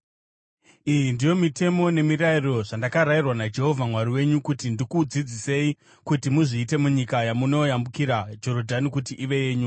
Iyi ndiyo mitemo, nemirayiro zvandakarayirwa naJehovha Mwari wenyu kuti ndikudzidzisei kuti muzviite munyika yamunoyambukira Jorodhani kuti ive yenyu,